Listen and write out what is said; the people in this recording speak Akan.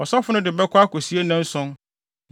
Ɔsɔfo no de bɛkɔ akosie nnanson.